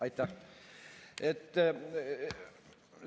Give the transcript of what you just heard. Aitäh!